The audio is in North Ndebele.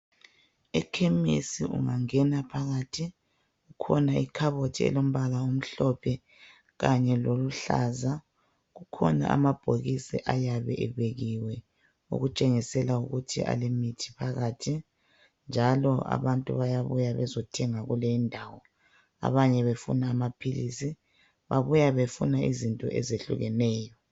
Ekhemisi ungangena phakathi kukhona ikhabothi elombala omhlophe kanye loluhlaza .Kukhona amabhokisi ayabe ebekiwe okutshengisela ukuthi alemithi phakathi njalo abantu bayabuya bezothenga kuleyi indawo abanye befuna amaphilisi .Babuya befuna izinto ezehlukeneyo.